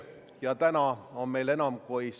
Te ei ole vaeva näinud sellega, et otsida katteallikaid.